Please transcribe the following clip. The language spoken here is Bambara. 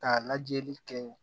Ka lajɛli kɛ